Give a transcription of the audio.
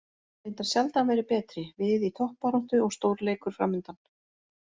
Reyndar sjaldan verið betri, við í toppbaráttu og stórleikur framundan.